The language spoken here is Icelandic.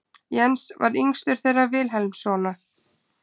Jens var yngstur þeirra Vilhelmssona.